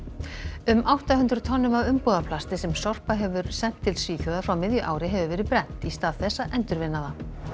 um átta hundruð tonnum af umbúðaplasti sem Sorpa hefur sent til Svíþjóðar frá miðju ári hefur verið brennt í stað þess að endurvinna það